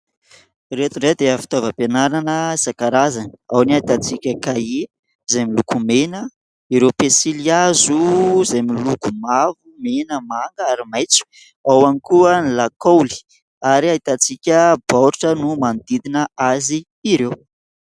Ireto indray dia fitaovam-pianarana isan-karazany, ao ny ahitantsika kahie izay miloko mena, ireo pensilihazo izay miloko mavo, mena, manga ary maitso, ao ihany koa ny lakaoly ary ahitantsika baoritra no manodidina azy ireo.